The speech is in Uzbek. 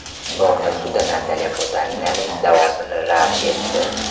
London sudi Natalya Potaninaning da’vosini rad etdi.